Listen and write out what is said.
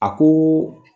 A ko